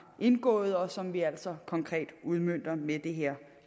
indgået og som vi altså konkret udmønter med det her